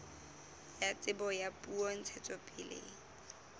ya tsebo ya puo ntshetsopeleng